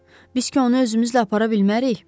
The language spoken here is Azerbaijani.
Biz ki onu özümüzlə apara bilmərik?